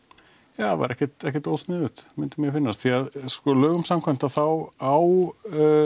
það væri ekkert ekkert ósniðugt myndi mér finnast því að sko lögum samkvæmt þá á